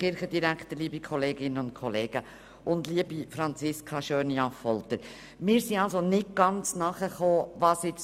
Wir haben nicht genau verstanden, was Grossrätin Schöni-Affolter genau will.